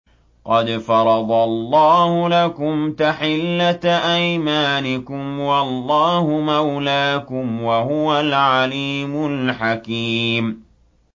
قَدْ فَرَضَ اللَّهُ لَكُمْ تَحِلَّةَ أَيْمَانِكُمْ ۚ وَاللَّهُ مَوْلَاكُمْ ۖ وَهُوَ الْعَلِيمُ الْحَكِيمُ